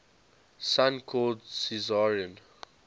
son called caesarion